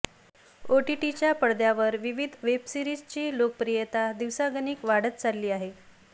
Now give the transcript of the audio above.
ओटीटीच्या पडद्यावर विविध वेब सीरिजची लोकप्रियता दिवसागणिक वाढत चालली आहे